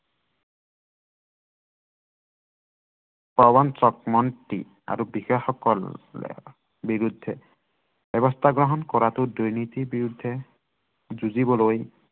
প্ৰবঞ্চক মন্ত্ৰী আৰু বিধায়কসকলৰ বিৰুদ্ধে, ব্য়ৱস্থা গ্ৰহণ কৰাটো দুৰ্নীতিৰ বিৰুদ্ধে যুঁজিবলৈ